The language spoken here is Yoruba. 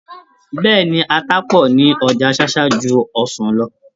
Bẹ́ẹ̀ni, ata pọ̀ ní ọjà Ṣáṣá ju ọsàn lọ.